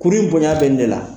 Kurun in bonya bɛ nin de la.